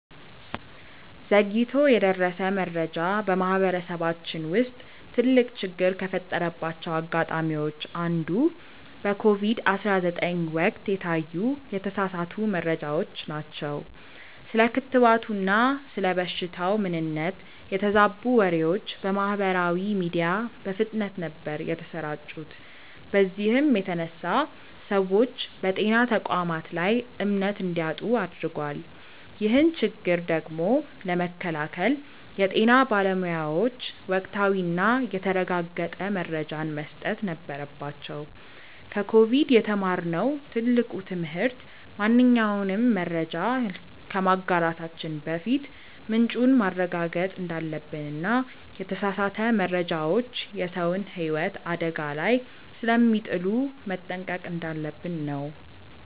ዘግይቶ የደረሰ መረጃ በማህበረሰባችን ውስጥ ትልቅ ችግር ከፈጠረባቸው አጋጣሚዎች አንዱ በኮቪድ 19 ወቅት የታዩ የተሳሳቱ መረጃዎች ናቸው። ስለ ክትባቱና ስለ በሽታው ምንነት የተዛቡ ወሬዎች በማህበራዊ ሚዲያ በፍጥነት ነበር የተሰራጩት በዚህም የተነሳ ሰዎች በጤና ተቋማት ላይ እምነት እንዲያጡ አድርጓል። ይህን ችግር ቀድሞ ለመከላከል የጤና ባለሙያዎች ወቅታዊና የተረጋገጠ መረጃን መስጠት ነበረባቸው። ከኮቪድ የተማርነው ትልቁ ትምህርት ማንኛውንም መረጃ ከማጋራታችን በፊት ምንጩን ማረጋገጥ እንዳለብንና የተሳሳቱ መረጃዎች የሰውን ህይወት አደጋ ላይ ስለሚጥሉ መጠንቀቅ እንዳለብን ነው።